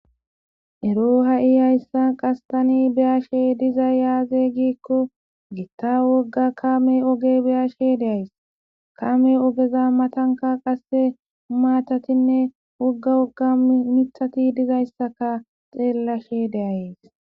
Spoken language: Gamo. ero ha7i hayssa qastani beyashe dizay yaaze giikko gitta wogga kame oge beyashe deays kame ogeza matanka qasse umaatatinne wogga wogga mithati dizayssaka xeellashe deayes